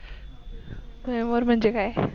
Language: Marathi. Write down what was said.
स्वयंवर म्हणजे काय?